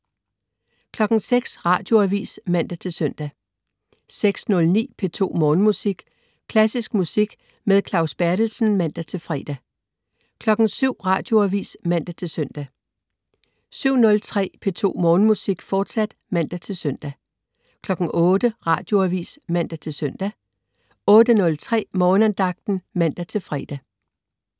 06.00 Radioavis (man-søn) 06.09 P2 Morgenmusik. Klassisk musik med Claus Berthelsen (man-fre) 07.00 Radioavis (man-søn) 07.03 P2 Morgenmusik, fortsat (man-søn) 08.00 Radioavis (man-søn) 08.03 Morgenandagten (man-fre)